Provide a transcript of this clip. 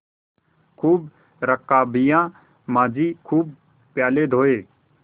खूब रकाबियाँ माँजी खूब प्याले धोये